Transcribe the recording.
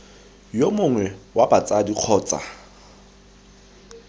yo mongwe wa batsadi kgotsa